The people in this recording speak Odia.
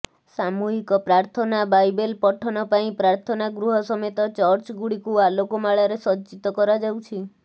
ସାମୁହିକ ପ୍ରାଥନା ବାଇବେଲ ପଠନ ପାଇଁ ପ୍ରାଥନା ଗୃହ ସମେତ ଚର୍ଚ୍ଚ ଗୁଡିକୁ ଆଲୋକମାଳାରେ ସଜ୍ଜିତ କରାଯାଉଛି